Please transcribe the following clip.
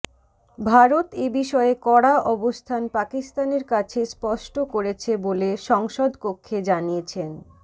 ভারত এবিষয়ে কড়া অবস্থান পাকিস্তানের কাছে স্পষ্ট করেছে বলে সংসদকক্ষে জানিয়েছেন